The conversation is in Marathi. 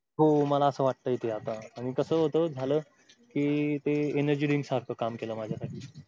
हो मला असं वाटतंय ते आता आणि कास होत झालं. कि ते energy drink सारखं काम केलं माझ्यासाठी